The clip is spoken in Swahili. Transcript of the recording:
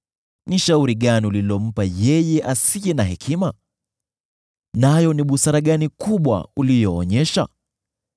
Ni shauri gani ulilompa yeye asiye na hekima? Nayo ni busara gani kubwa uliyoonyesha!